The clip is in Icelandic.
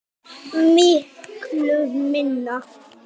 Miklu minna.